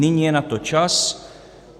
Nyní je na to čas.